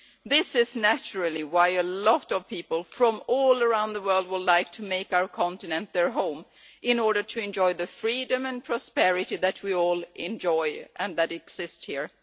This is naturally why a lot of people from all around the world would like to make our continent their home, in order to enjoy the freedom and prosperity that we all enjoy and that exist here.